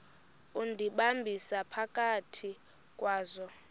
undihambisa phakathi kwazo